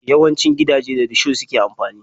Yawancin gidaje da risho suke amfani.